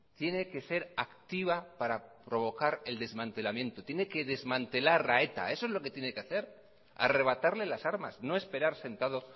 tiene que ser activa para provocar el desmantelamiento tiene que desmantelar a eta eso es lo que tiene que hacer arrebatarle las armas no esperar sentado